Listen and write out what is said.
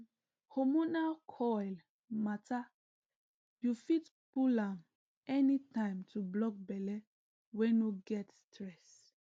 um hormonal coil matter you fit pull am anytime to block belle wey no get stress